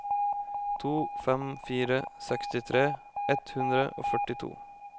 to fem fire fire sekstitre ett hundre og førtito